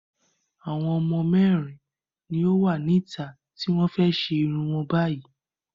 Àwọn ọmọ mẹ́rin ni ó wà níta tí wọ́n fẹ́ ṣe irun wọn báyìí.